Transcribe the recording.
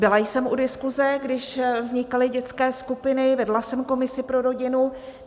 Byla jsem u diskuse, když vznikaly dětské skupiny, vedla jsem komisi pro rodinu.